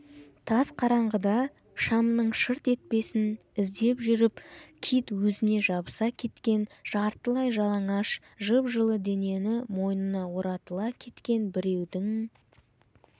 тас қараңғыда шамның шырт етпесін іздеп жүріп кит өзіне жабыса кеткен жартылай жалаңаш жып-жылы денені мойнына оратыла кеткен біреудің